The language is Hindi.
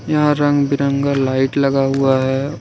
यहां रंग बिरंगा लाइट लगा हुआ है।